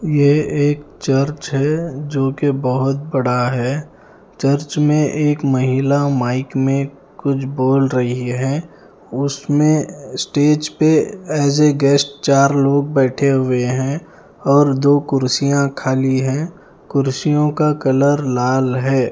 ये एक चर्च है जो की बहोत बड़ा है चर्च में एक महिला माइक में कुछ बोल रही हैं उसमें स्टेज पे एज अ गेस्ट चार लोग बैठे है हैं और दो कुर्सियां खाली हैं कुर्सियों का कलर लाल है।